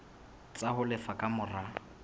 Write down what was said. tsa ho lefa ka mora